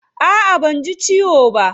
A'a banji ciwo ba.